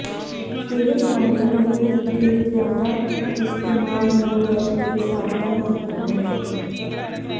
ਸਿਹਤ ਮਾਹਿਰਾਂ ਨੇ ਇਸ ਦੇ ਜ਼ਿਆਦਾ ਇਸਤੇਮਾਲ ਨੂੰ ਲੈ ਕੇ ਸਾਵਧਾਨ ਕੀਤਾ ਹੈ